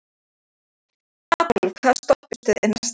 Adolf, hvaða stoppistöð er næst mér?